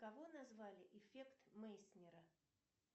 кого назвали эффект мейснера